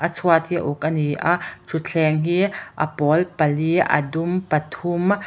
chhuat hi a uk a ni a thutthleng hi a pawl pali a dum pathum--